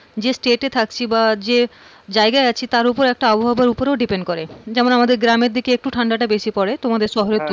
যে state থাকছি বা যে জায়গায় জায়গায় আছি তারপর একটা আবহাওয়ার উপরেও depend করে, যেমন আমাদের গ্রামের দিকে একটু ঠান্ডাটা বেশি পড়ে তোমার শহরে তুলনায়।